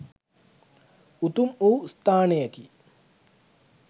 උතුම් වූ ස්ථානයකි.